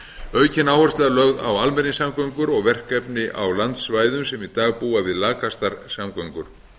aukin áhersla er lögð á almenningssamgöngur og verkefni á landsvæðum sem í dag búa við lakastar samgöngur